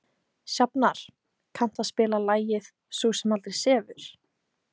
Sjafnar, kanntu að spila lagið „Sú sem aldrei sefur“?